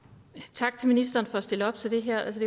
tak til ministeren for at stille op til det her altså